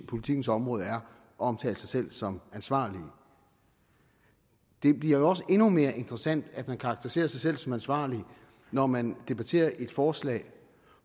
politikkens område er at omtale sig selv som ansvarlige det bliver jo også endnu mere interessant at man karakteriserer sig selv som ansvarlig når man debatterer et forslag